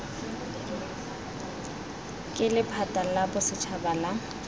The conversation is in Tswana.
ke lephata la bosetšhaba la